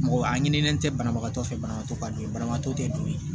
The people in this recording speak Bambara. Mɔgɔ a ɲininen tɛ banabagatɔ fɛ banabagatɔ ka don banabagatɔ tɛ don ye